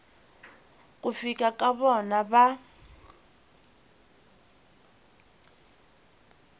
ku fika ka vona va